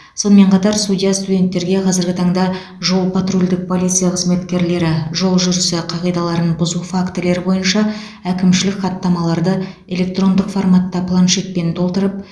сонымен қатар судья студенттерге қазіргі таңда жол патрульдік полиция қызметкерлері жол жүрісі қағидаларын бұзу фактілері бойынша әкімшілік хаттамаларды электрондық форматта планшетпен толтырып